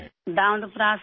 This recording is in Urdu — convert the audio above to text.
دندپرا سے